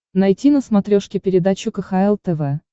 найти на смотрешке передачу кхл тв